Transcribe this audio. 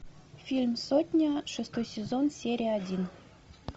фильм сотня шестой сезон серия один